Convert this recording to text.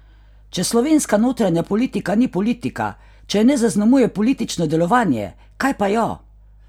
Če slovenska notranja politika ni politika, če je ne zaznamuje politično delovanje, kaj pa jo?